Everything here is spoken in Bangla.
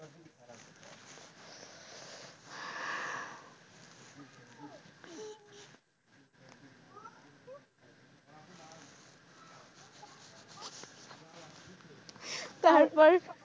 তারপর,